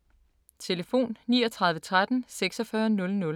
Telefon: 39 13 46 00